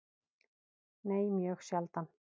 Nei, mjög sjaldan.